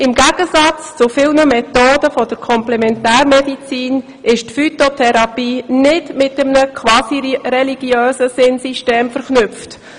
Im Gegensatz zu vielen Methoden der Komplementärmedizin ist die Phytotherapie nicht mit einem quasi-religiösen Sinnsystem verknüpft.